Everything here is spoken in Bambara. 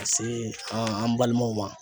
Ka se an balimaw ma.